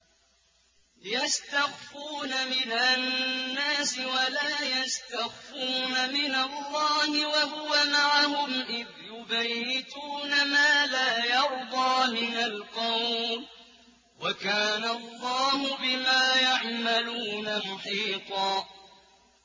يَسْتَخْفُونَ مِنَ النَّاسِ وَلَا يَسْتَخْفُونَ مِنَ اللَّهِ وَهُوَ مَعَهُمْ إِذْ يُبَيِّتُونَ مَا لَا يَرْضَىٰ مِنَ الْقَوْلِ ۚ وَكَانَ اللَّهُ بِمَا يَعْمَلُونَ مُحِيطًا